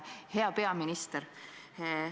Hea peaminister!